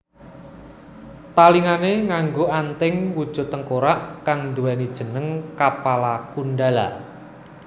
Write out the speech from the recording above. Talingané nganggo anting wujud tengkorak kang nduwèni jeneng Kapala Kundala